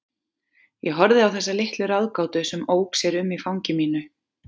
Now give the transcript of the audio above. Ég horfði á þessa litla ráðgátu sem ók sér um í fangi mínu.